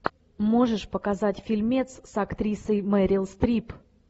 можешь показать фильмец с актрисой мерил стрип